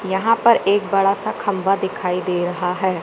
यहां पर एक बड़ासा खंबा दिखाई दे रहा हैं।